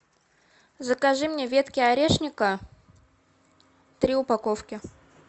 закажи мне ветки орешника три упаковки